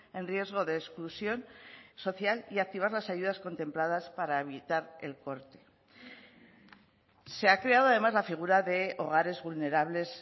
en riesgo de exclusión social y activar las ayudas contempladas para evitar el corte se ha creado además la figura de hogares vulnerables